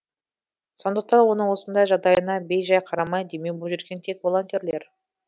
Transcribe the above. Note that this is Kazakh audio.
сондықтан оның осындай жағдайына бей жай қарамай демеу боп жүрген тек волонтерлер